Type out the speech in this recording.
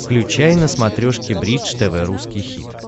включай на смотрешке бридж тв русский хит